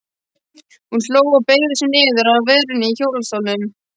Hún hló og beygði sig niður að verunni í hjólastólnum.